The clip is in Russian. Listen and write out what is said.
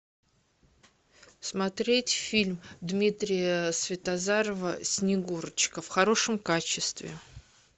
смотреть фильм дмитрия светозарова снегурочка в хорошем качестве